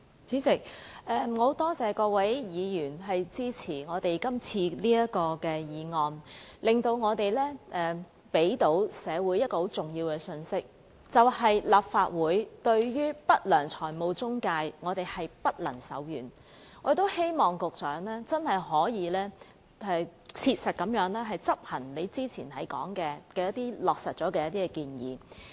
主席，我多謝各位議員支持今天這項議案，讓我們向社會帶出一個重要信息，就是立法會對不良財務中介不會手軟，我們亦希望局長可以切實執行他之前提到的一些已落實的建議。